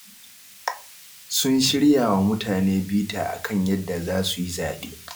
Sun shirya wa mutane bita a kan yadda za su yi zaɓe